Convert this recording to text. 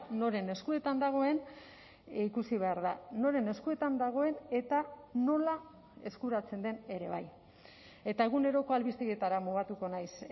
noren eskuetan dagoen ikusi behar da noren eskuetan dagoen eta nola eskuratzen den ere bai eta eguneroko albistegietara mugatuko naiz